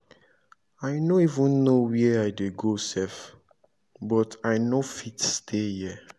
i no even know where i dey go sef but i no fit stay here?